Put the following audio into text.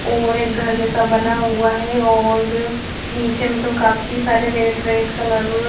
और एक घर जैसा बना हुआ हैं और नीचे मतलब काफी सारे रेड रेड कलर --